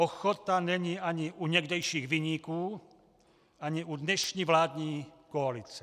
Ochota není ani u někdejších viníků ani u dnešní vládní koalice.